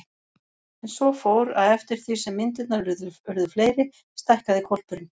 En svo fór, að eftir því sem myndirnar urðu fleiri stækkaði hvolpurinn.